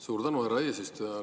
Suur tänu, härra eesistuja!